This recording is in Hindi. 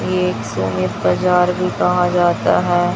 एक सौ एक हजार भी कहा जाता है।